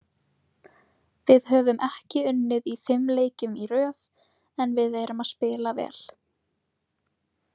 Við höfum ekki unnið í fimm leikjum í röð en við erum að spila vel